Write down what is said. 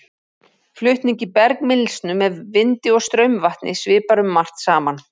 Flutningi bergmylsnu með vindi og straumvatni svipar um margt saman.